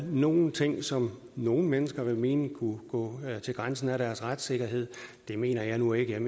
nogle ting som nogle mennesker vil mene kunne gå til grænsen af deres retssikkerhed det mener jeg nu ikke jeg